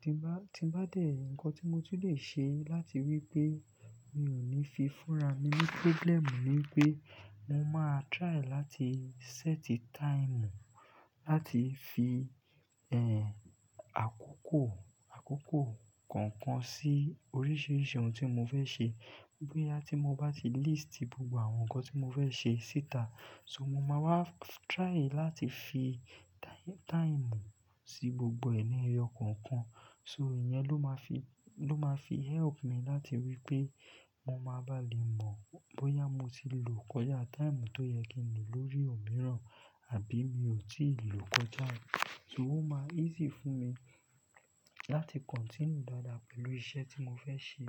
Tí bá, tí bá dẹ̀, ǹkan tí mo ti lè ṣe láti wípé mi ò ní fi fúnra ní wàhálà ni wípé mo máa try láti set time láti fi, ẹ́, àkókò, àkókò kọ̀ọ̀kan sí oríṣiríṣi ohun tí mo fẹ́ ṣe. Bóyá tí mo bá ti list gbogbo àwọn ǹkan tí mo fẹ́ ṣe síta. So mo máa wá try láti fi asikò, asikò sí gbogbo ẹ̀rí ọkàn kan. So ẹ̀yẹn ló máa fi, ló máa fi help mi láti wípé mo máa bá lè mọ̀ bóyá mo ti lò kọjá time tó yẹ kí n lò lórí òmíràn, àbí mi ò tíì lò kọjá òun. So ó má easy fún mi láti continue dáadáa pẹ̀lú iṣẹ́ tí mo fẹ́ ṣe.